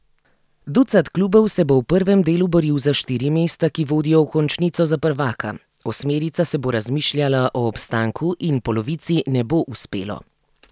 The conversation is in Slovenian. Ducat klubov se bo v prvem delu boril za štiri mesta, ki vodijo v končnico za prvaka, osmerica se bo razmišljala o obstanku in polovici ne bo uspelo.